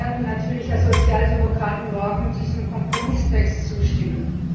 Wir werden natürlich als Sozialdemokraten morgen diesem Kompromisstext zustimmen.